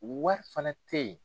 Wari fana tɛ yen.